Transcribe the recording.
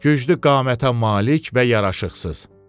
Güclü qamətə malik və yaraşıqsız.